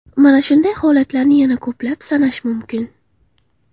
Mana shunday holatlarni yana ko‘plab sanash mumkin.